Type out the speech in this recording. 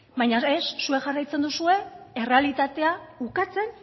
baina ez zuek jarraitzen duzue errealitatea ukatzen